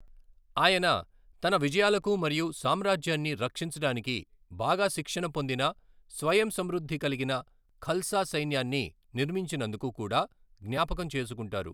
ఆయన తన విజయాలకు మరియు సామ్రాజ్యాన్ని రక్షించడానికి బాగా శిక్షణ పొందిన, స్వయం సమృద్ధి కలిగిన ఖల్సా సైన్యాన్ని నిర్మించినందుకు కూడా జ్ఞాపకం చేసుకుంటారు.